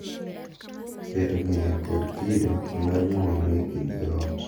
Keto ng’eyo kod kido mar ng’uono e kind joot